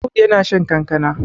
Audu yana shan kankana